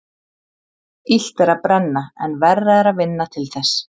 Illt er að brenna en verra er að vinna til þess.